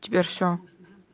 теперь всё